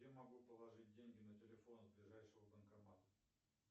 где могу положить деньги на телефон с ближайшего банкомата